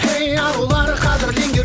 ей арулар қадірлеңдер